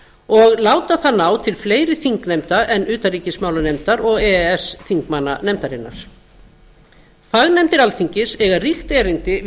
og láta það ná til fleiri þingnefnda en utanríkismálanefndar og e e s þingmanna nefndarinnar fagnefndir alþingis eiga ríkt erindi